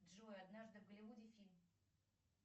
джой однажды в голливуде фильм